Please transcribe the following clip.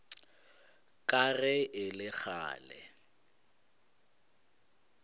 ka ge e le kgale